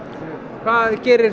hvað gerir